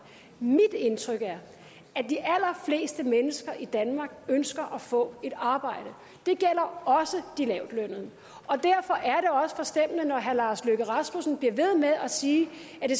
mit indtryk er at mennesker i danmark ønsker at få et arbejde det gælder også de lavtlønnede og derfor er det også forstemmende når herre lars løkke rasmussen bliver ved med at sige